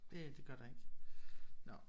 Det det gør der ikke nåh